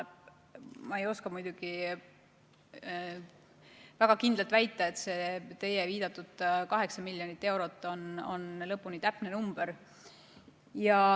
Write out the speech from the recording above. Ma ei oska väga kindlalt väita, kas see teie viidatud 8 miljonit eurot on lõpuni täpne number.